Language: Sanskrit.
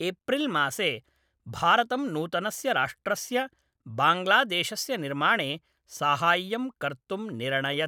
एप्रिल्मासे, भारतं नूतनस्य राष्ट्रस्य बाङ्ग्लादेशस्य निर्माणे साहाय्यं कर्तुं निरणयत्।